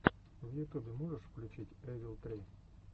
в ютубе можешь включить эвил три